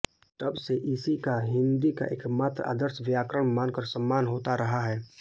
तब से इसी का हिन्दी का एकमात्र आदर्श व्याकरण मानकर सम्मान होता रहा है